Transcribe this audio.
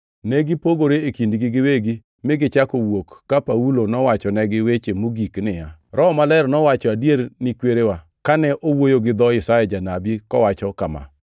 Ne gipogore e kindgi giwegi mi gichako wuok ka Paulo nowachonegi weche mogik niya, “Roho Maler nowacho adier ni kwereu, kane owuoyo gi dho Isaya janabi, kowacho kama: